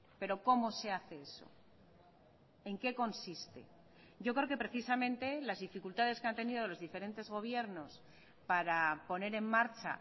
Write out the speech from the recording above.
pero cómo se hace eso en qué consiste yo creo que precisamente las dificultades que han tenido los diferentes gobiernos para poner en marcha